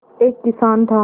एक किसान था